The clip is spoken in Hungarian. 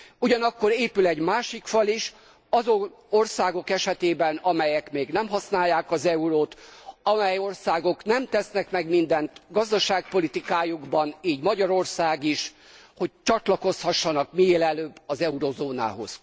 Ugyanakkor épül egy másik fal is, azon országok esetében, amelyek még nem használják az eurót, amely országok nem tesznek meg mindent gazdaságpolitikájukban, így Magyarország is, hogy csatlakozhassanak minél előbb az eurózónához.